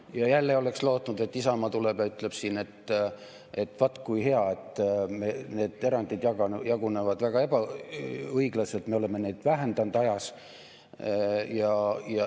Ja jälle oleks lootnud, et Isamaa tuleb ja ütleb, et vaat kui hea, et need erandid jagunevad väga õiglaselt, me oleme neid vähendanud ajas.